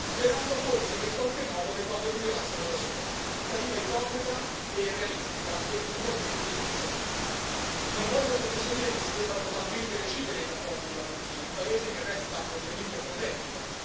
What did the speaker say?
sperando forse che in qualche modo le cose migliorassero da sole aspettativa ipocrita, irrealistica e puntualmente disattesa. Non voglio con questo dire che si debbano totalmente recidere i rapporti con la Turchia, paese che resta ovviamente strategico.